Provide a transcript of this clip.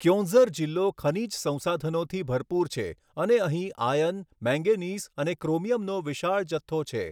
ક્યોંઝર જિલ્લો ખનીજ સંસાધનોથી ભરપૂર છે અને અહીં આયર્ન, મેંગેનીઝ અને ક્રોમિયમનો વિશાળ જથ્થો છે.